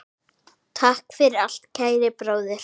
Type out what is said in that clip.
Takk fyrir allt, kæri bróðir.